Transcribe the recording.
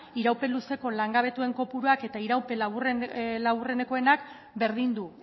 iraupen luzeko langabetuen kopuruak eta iraupen laburrenekoenak berdindu